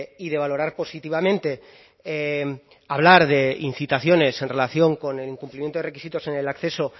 y de valorar positivamente hablar de incitaciones en relación con el incumplimiento de requisitos en el acceso